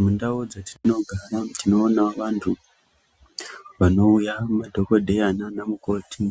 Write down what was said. Mundau dzatinogara tinoona vantu vanouya ,madhokodheya nana mukoti,